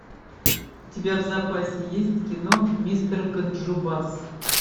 у тебя в запасе есть кино мистер ганджубас